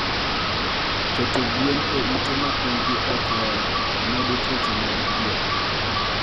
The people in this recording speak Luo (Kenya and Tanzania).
keto gwen e ute mapinygi okler medo tuoche mag pien